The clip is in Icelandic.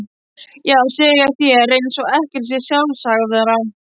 Já, segja þær eins og ekkert sé sjálfsagðara.